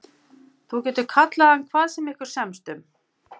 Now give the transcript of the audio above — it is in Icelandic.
Þú getur kallað hann hvað sem ykkur semst um.